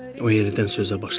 O yerdən sözə başladı.